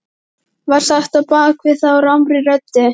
var sagt á bak við þá rámri röddu.